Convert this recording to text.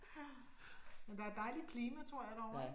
Men der er dejligt klima tror jeg derovre